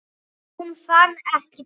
Hún fann ekki til.